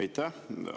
Aitäh!